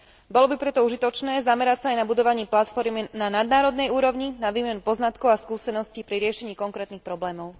Bolo by preto užitočné zamerať sa aj na budovanie platforiem na nadnárodnej úrovni, na výmenu poznatkov a skúseností pri riešení konkrétnych problémov.